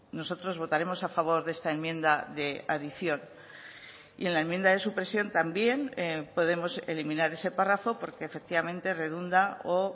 nosotros votaremos a favor de esta enmienda de adición y en la enmienda de supresión también podemos eliminar ese párrafo porque efectivamente redunda o